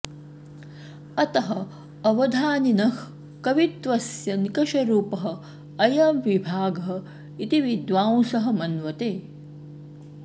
अतः अवधानिनः कवित्वस्य निकषरूपः अयं विभागः इति विन्दांसः मन्वते